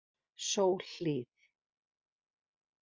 Sólhlíð